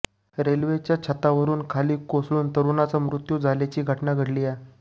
रेल्वेच्या छतावरुन खाली कोसळून तरुणाचा मृत्यू झाल्याची घटना घडलीय